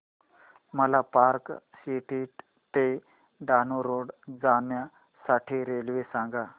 मला park street ते Dahanu road जाण्या साठी रेल्वे सांगा